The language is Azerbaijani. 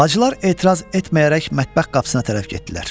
Bacılar etiraz etməyərək mətbəx qapısına tərəf getdilər.